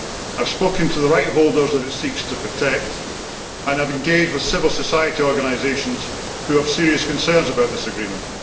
I have spoken to the rights holders that it seeks to protect, and I have engaged with civil society organisations who have serious concerns about this agreement.